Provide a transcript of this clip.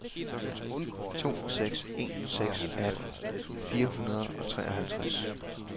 to seks en seks atten fire hundrede og treoghalvtreds